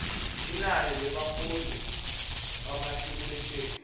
linani lebafundzi bamatikuletjeni